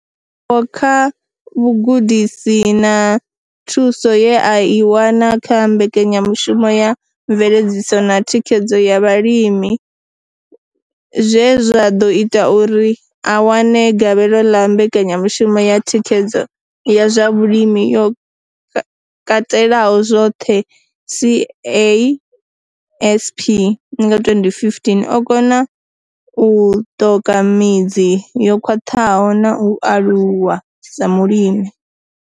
Ndivhuwo kha vhugudisi na thuso ye a i wana kha Mbekanya mushumo ya Mveledziso na Thikhedzo ya Vhalimi zwe zwa ḓo ita uri a wane gavhelo ḽa Mbekanya mushumo ya Thikhedzo ya zwa Vhulimi yo Katelaho zwoṱhe, CASP, nga 2015, o kona u ṱoka midzi yo khwaṱhaho na u aluwa sa mulimi.